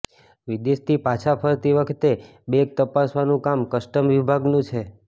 વિદેશથી પાછા ફરતી વખતે બેગ તપાસવાનું કામ કસ્ટમ વિભાગનું છે